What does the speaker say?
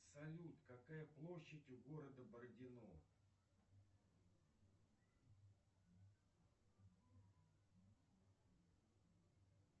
салют какая площадь у города бородино